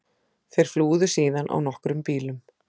Þeir flúðu síðan á nokkrum bílum